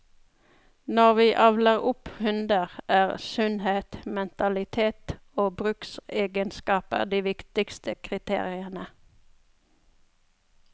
Når vi avler opp hunder, er sunnhet, mentalitet og bruksegenskaper de viktigste kriteriene.